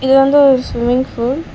இது வந்து ஒரு ஸ்விம்மிங் ஃபூல் .